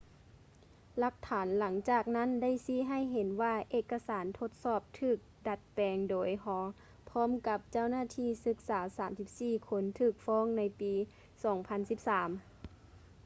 ຫຼັກຖານຫຼັງຈາກນັ້ນໄດ້ຊີ້ໃຫ້ເຫັນວ່າເອກະສານທົດສອບຖືກດັດແປງໂດຍ hall ພ້ອມກັບເຈົ້າໜ້າທີ່ສຶກສາ 34 ຄົນຖືກຟ້ອງໃນປີ 2013